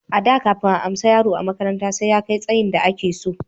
A da kafin a amsa yaro a makaranta sai ya kai tsayin da a ke so